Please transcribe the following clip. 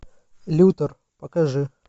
лютер покажи